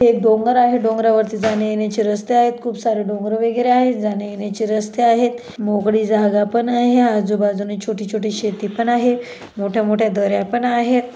एक डोंगर आहे डोंगरा वरती जाण्यायेण्याची रस्ते आहेत खूप सारे डोंगर वगैरे आहेत जाण्यायेण्याची रस्ते आहे मोकळी जागा पण आहे आजूबाजूनी छोटी छोटी शेती पण आहे मोठ्या मोठ्या दर्‍या पण आहेत.